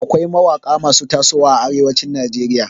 Akwai mawaƙa masu tasowa a arewacin Najeriya.